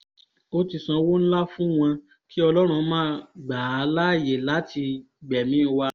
ó ti sanwó ńlá fún wọn kí ọlọ́run má gbà á láàyè láti gbẹ̀mí wa